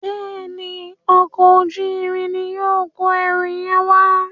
Béèni Ọkọ̀ ojú-irin ní yóò kọ ẹrù yen wá.